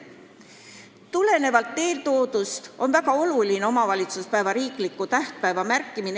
Seega on väga oluline omavalitsuspäeva riikliku tähtpäevana märkida.